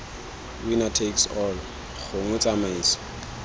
winner takes all gongwe tsamaiso